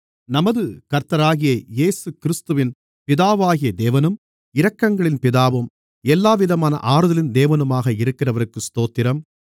நமது கர்த்தராகிய இயேசுகிறிஸ்துவின் பிதாவாகிய தேவனும் இரக்கங்களின் பிதாவும் எல்லாவிதமான ஆறுதலின் தேவனுமாக இருக்கிறவருக்கு ஸ்தோத்திரம்